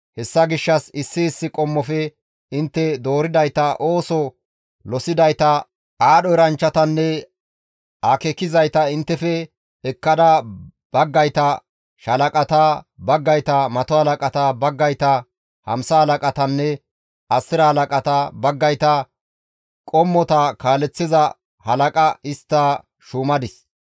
Hessa gishshas issi issi qommofe intte dooridayta ooso losidayta, aadho eranchchatanne akeekizayta inttefe ekkada baggayta shaalaqata, baggayta mato halaqata, baggayta hamsa halaqatanne asira halaqata, baggayta qommota kaaleththiza halaqa histta shuumadis.